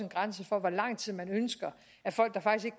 grænse for hvor lang tid man ønsker at folk der faktisk